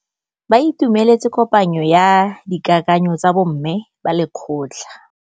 Ba itumeletse kôpanyo ya dikakanyô tsa bo mme ba lekgotla.